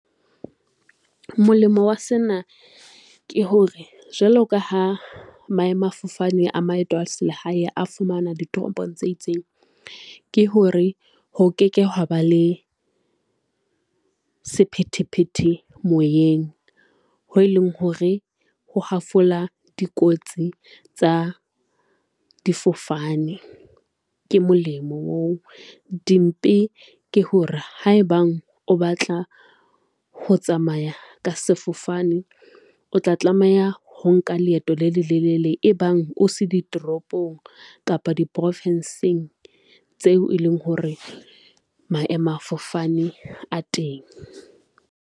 Molemo wa sena ke hore, jwalo ka ha maemafofane a maeto a se lehae, a fumana ditoropong tse itseng, ke hore ho ke ke ha ba le sephethephethe moyeng. Ho e leng hore, ho hafola dikotsi tsa difofane ke molemo oo. Dimpe ke hore ha ebang o batla ho tsamaya ka sefofane, o tla tlameha ho nka leeto le lelelele e bang o se ditoropong kapa diprofenseng tseo e leng hore maemafofane a teng.